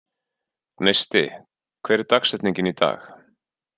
Gneisti, hver er dagsetningin í dag?